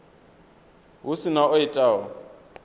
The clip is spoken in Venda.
hu si na o itaho